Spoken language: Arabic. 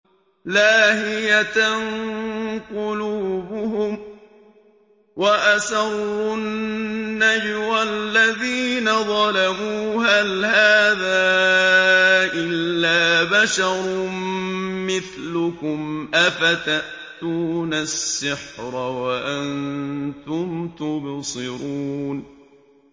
لَاهِيَةً قُلُوبُهُمْ ۗ وَأَسَرُّوا النَّجْوَى الَّذِينَ ظَلَمُوا هَلْ هَٰذَا إِلَّا بَشَرٌ مِّثْلُكُمْ ۖ أَفَتَأْتُونَ السِّحْرَ وَأَنتُمْ تُبْصِرُونَ